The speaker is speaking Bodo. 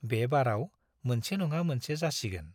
बे बाराव मोनसे नङा मोनसे जासिगोन।